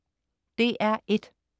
DR1: